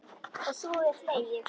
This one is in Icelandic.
Og svo er hlegið.